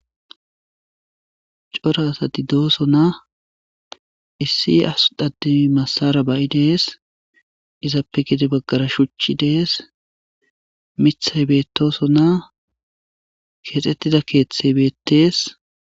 Xora asati doosona. Issi asi massara ba'i dees. Izappe gede baggara shuchchi dees. Mithay beetosona .keexxettida keeththey beettees.